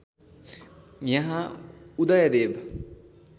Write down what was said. यहाँ उदयदेव